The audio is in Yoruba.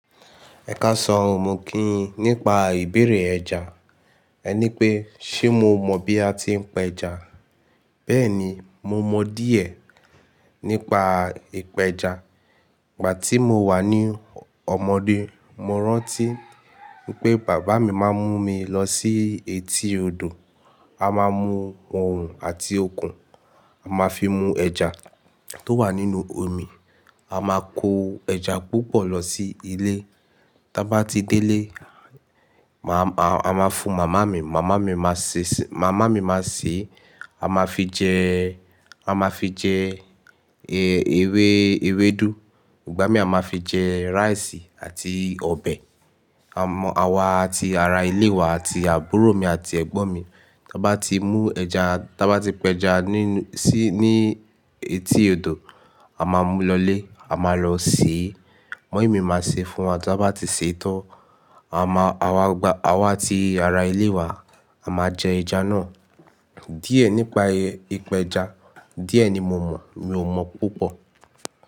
Ẹkásan ò mò kíyín nípa ìbéèrè ẹja. Ẹ ní pé, ṣe mo mọ̀ bí a ti ń pé ẹja? Bẹ́ẹ̀ni, mo mọ̀ díẹ̀ nípa ìpẹja. Ìgbà tí mo wà ní ọmọdé, mo rántí pé bàbá mi máa ń mú mi lọ sí etí odò. A máa mú òrùn àti okùn, a máa fi mú ẹja tó wà nínú omi. A máa kó ẹja púpọ̀ lọ sí ilé. Ta bá ti dé ilé, a máa fún màmá mi. Màmá mi máa sè é, a máa fi jẹ, a máa fi jẹ ewé ewédú. Ìgbà mí a máa fi jẹ rice àti ọbẹ̀. Àwá tí ara ilé wa àti àbúrò mi àti ẹ̀gbọ́n mi, tí a bá ti mú ẹja, tí a bá ti pẹja sí ní etí odò, a máa mú lọlé, a máa lọ sè é. Mọ́imì mi máa sè é fún wa tí a bá ti sè é tó, àwá tí ara ilé wa a máa jẹ ẹja náà. Díẹ̀ nípa ìpẹja, díẹ̀ ni mo mọ̀, mi ò mọ̀ púpọ̀